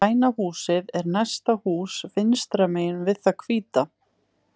Græna húsið er næsta hús vinstra megin við það hvíta.